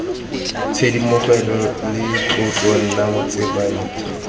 tshisimogo le tlotlo nna tsebentlha